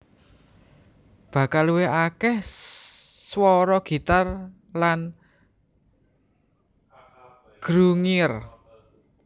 Bakal luwih akeh swara gitar lan grungier